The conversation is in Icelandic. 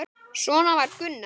Svona var Gunnar.